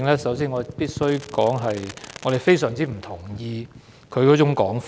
首先，我必須表示我非常不同意他的說法。